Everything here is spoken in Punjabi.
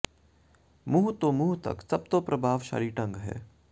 ਮੂੰਹ ਤੋਂ ਮੂੰਹ ਤੱਕ ਸਭ ਤੋਂ ਪ੍ਰਭਾਵਸ਼ਾਲੀ ਢੰਗ ਹੈ